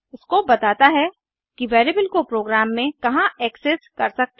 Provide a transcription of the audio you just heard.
scope बताता है कि वेरिएबल को प्रोग्राम में कहाँ एक्सेस कर सकते हैं